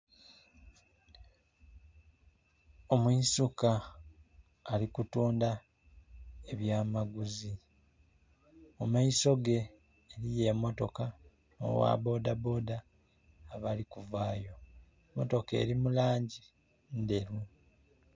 Omwisuka ali kutunda ebyamaguzi, mu maiso ge eriyo emotoka n'ogha bodaboda abali kuvaayo, emotoka eri mu langi ndheru.